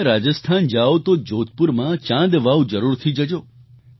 જો તમે રાજસ્થાન જાવ તો જોધપુરમાં ચાંદ વાવ જરૂરથી જજો